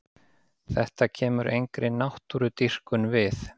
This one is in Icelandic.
Þetta kemur engri náttúrudýrkun við.